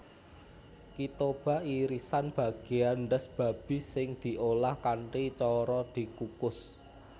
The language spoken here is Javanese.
Kitoba irisan bagéyan ndhas babi sing diolah kanthi cara dikukus